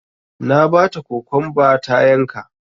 Na bata kokwamba ta yanka